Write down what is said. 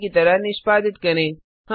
पहले की तरह निष्पादित करें